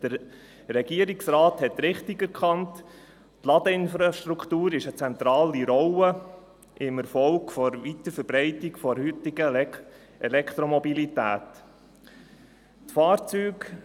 Der Regierungsrat hat richtig erkannt, dass die Ladeinfrastruktur eine zentrale Rolle beim Erfolg der Weiterverbreitung der heutigen Elektromobilität spielt.